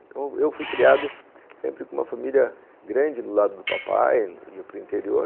Então, eu fui criado sempre com uma família grande do lado do papai, ia para o interior.